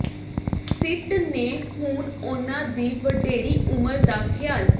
ਸਿੱਟ ਨੇ ਹੁਣ ਉਨ੍ਹਾਂ ਦੀ ਵਡੇਰੀ ਉਮਰ ਦਾ ਖਿਆਲ